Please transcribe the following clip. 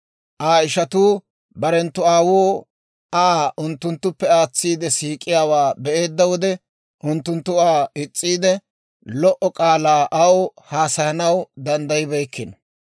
Aa ishatuu barenttu aawuu Aa unttunttuppe aatsiide siik'iyaawaa be'eedda wode, unttunttu Aa is's'iide, lo"o k'aalaa aw haasayanaw danddayibeykkino.